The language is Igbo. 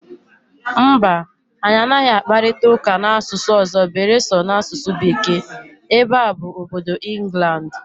Mba, anyị anaghị akparịta ụka n'asụsụ ọzọ beere so n'asụsụ Bekee, ebe a bụ obodo Ịnglandị